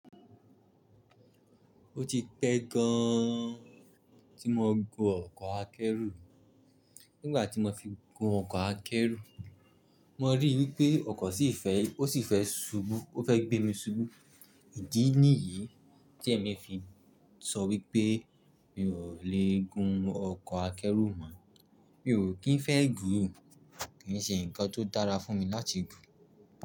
Ó ti pẹ́ gan tí mo gùn ọkọ̀ akẹ́rù. Nígbà tí mo fi gùn ọkọ̀ akẹ́rù, mo rí i wípé ọkọ̀ sì fẹ́, ó sì fẹ́ ṣubú, ó fẹ́ gbé mi ṣubú. Ìdí nìyí tí èmi fi sọ wípé mi ò lè gun ọkọ̀ akẹ́rù mọ́. Mi ò kí ń fẹ́ gùn, kì í ṣe ǹkan tó dára fún mi láti gùn.